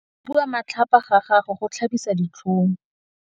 Go bua matlhapa ga gagwe go tlhabisa ditlhong.